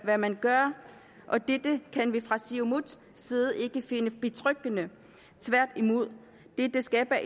hvad man gør og dette kan vi fra siumuts side ikke finde betryggende tværtimod det skaber